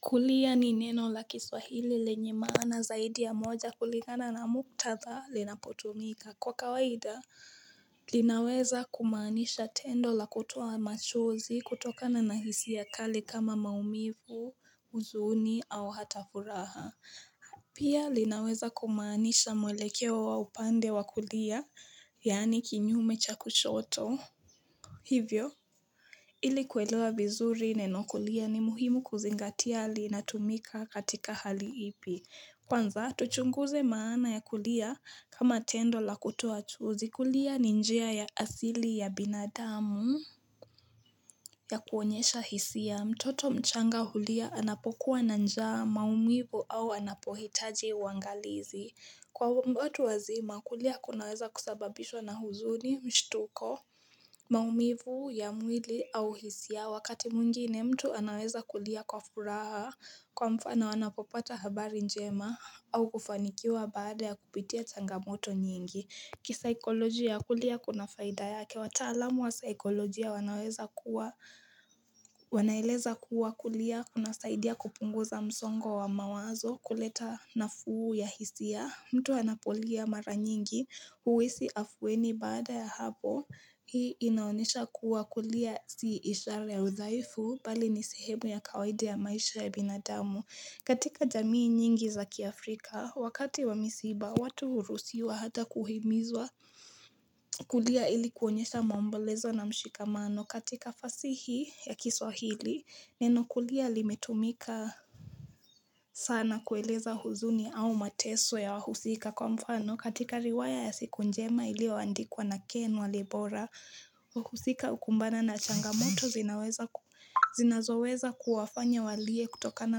Kulia ni neno la kiswahili lenye maana zaidi ya moja kuligana na muktadha linapotumika. Kwa kawaida, linaweza kumaanisha tendo la kutuo machozi kutokana na hisia kali kama maumivu, huzuni au hata furaha. Pia linaweza kumaanisha mwelekeo wa upande wa kulia, yaani kinyume cha kushoto. Hivyo, ili kuwelewa vizuri neno kulia ni muhimu kuzingati linatumika katika hali ipi. Kwanza, tuchunguze maana ya kulia kama tendo la kutoa chozi kulia ni njia ya asili ya binadamu ya kuonyesha hisia mtoto mchanga hulia anapokuwa na njaa maumivu au anapohitaji uangalizi. Kwa watu wazima, kulia kunaweza kusababishwa na huzuni, mshtuko, maumivu ya mwili au hisia wakati mwingine mtu anaweza kulia kwa furaha kwa mfano wanapopata habari njema au kufanikiwa baada ya kupitia changamoto nyingi. Kisaikoloji ya kulia kuna faida yake, wataalamu wa saikoloji wanaweza kuwa, wanaeleza kuwa kulia, kunasaidia kupunguza msongo wa mawazo kuleta nafuu ya hisia, mtu anapolia mara nyingi, huhisi afueni baada ya hapo, hii inaonesha kuwa kulia si ishara ya udhaifu, bali ni sehemu ya kawadi ya maisha ya binadamu. Katika jamii nyingi za kiafrika, wakati wa misiba, watu huruhusiwa hata kuhimizwa kulia ili kuonyesha maombolezo na mshikamano. Katika fasihi ya kiswahili, neno kulia limetumika sana kueleza huzuni au mateso ya wahusika kwa mfano katika riwaya ya siku njema iliyoandikwa na ken walibora. Wahusika hukumbana na changamoto zinazoweza kuwafanya walie kutokana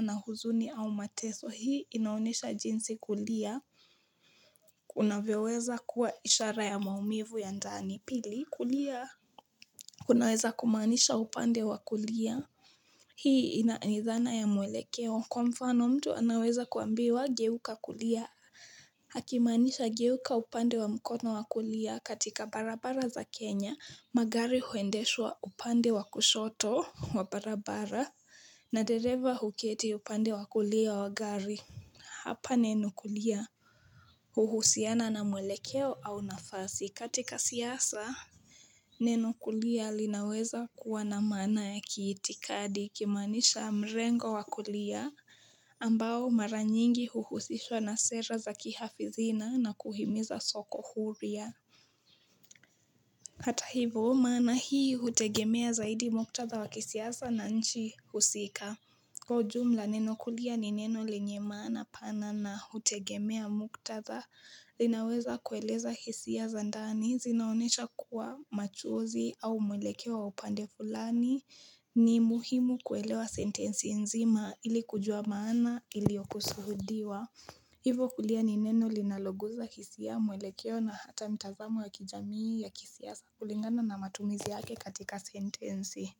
na huzuni au mateso hii inaonesha jinsi kulia Kunavyoweza kuwa ishara ya maumivu ya ndani pili kulia kunaweza kumaanisha upande wa kulia Hii ina aidhana ya mwelekeo kwa mfano mtu anaweza kuambiwa geuka kulia akimaanisha geuka upande wa mkono wa kulia katika barabara za Kenya magari huendeshwa upande wa kushoto wa barabara na dereva huketi upande wa kulia wa gari. Hapa neno kulia. Huhusiana na mwelekeo au nafasi katika siasa. Neno kulia linaweza kuwa na maana ya kiitikadi kimaanisha mrengo wa kulia. Ambao mara nyingi huhusishwa na sera za kihafidhina na kuhimiza soko huria. Hata hivo maana hii hutegemea zaidi muktadha wa kisiasa na nchi husika. Kwa ujumla neno kulia ni neno lenye maana pana na hutegemea muktadha linaweza kueleza hisza za ndani zinaonyesha kuwa machozi au mwelekeo wa upande fulani ni muhimu kuelewa sentensi nzima ili kujua maana iliyokusuhudiwa. Hivo kulia ni neno linaloguza hisia mwelekeo na hata mtazamo ya kijamii ya kisiasa kulingana na matumizi yake katika sentensi.